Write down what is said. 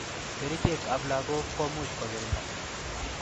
Kerichek ab lakok komuch kokirinda.